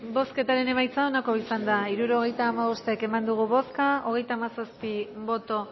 bozketaren emaitza onako izan da hirurogeita hamabost eman dugu bozka hogeita hamazazpi boto